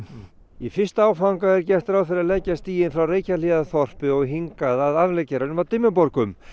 í fyrsta áfanga er gert ráð fyrir að leggja stíginn frá Reykjahlíðarþorpi og hingað að afleggjaranum að Dimmuborgum